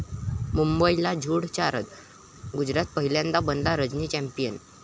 मुंबईला धुळ चारत गुजरात पहिल्यांदाच बनला रणजी चॅम्पियन